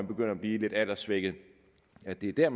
begynder at blive lidt alderssvækkede er det dér